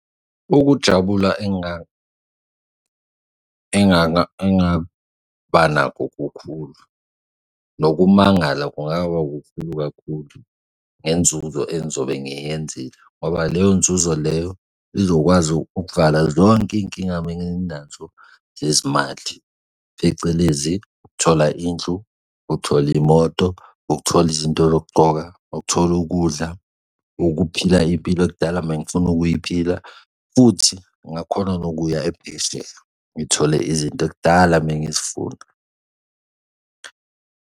Ukujabula engaba nakho kukhulu nokumangala kungaba kukhulu kakhulu ngenzuzo engizobe ngiyenzile, ngoba le nzuzo leyo izokwazi ukuvala zonke iy'nkinga benginazo zezimali, phecelezi ukuthola indlu, ukuthola imoto, ukuthola izinto zokugcoka, ukuthola ukudla, ukuphila impilo okudala mengifuna ukuyiphila futhi ngakhona nokuya ngithole izinto ekudala mengizifuna.